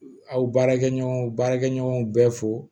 Aw baarakɛɲɔgɔn baarakɛɲɔgɔnw bɛɛ fo